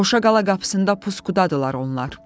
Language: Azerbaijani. Qoşa Qala qapısında puskudadılar onlar.